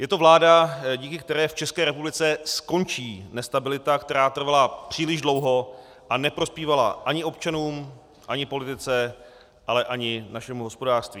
Je to vláda, díky které v České republice skončí nestabilita, která trvala příliš dlouho a neprospívala ani občanům, ani politice, ale ani našemu hospodářství.